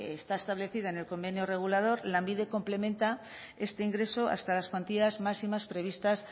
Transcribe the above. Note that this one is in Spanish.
está establecido en el convenio regular lanbide complementa este ingreso hasta las cuantías máximas previstas